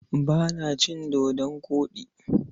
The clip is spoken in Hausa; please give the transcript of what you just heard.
Ba na cin dodon koɗi.